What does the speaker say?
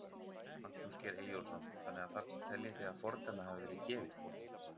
Magnús Geir Eyjólfsson: Þannig að þarna teljið þið að fordæmi hafi verið gefið?